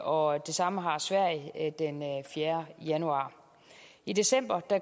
og det samme har sverige den fjerde januar i december